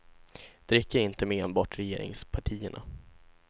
Det räcker inte med enbart regeringspartierna.